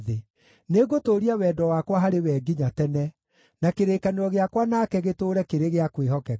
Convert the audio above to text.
Nĩngũtũũria wendo wakwa harĩ we nginya tene, na kĩrĩkanĩro gĩakwa nake gĩtũũre kĩrĩ gĩa kwĩhokeka.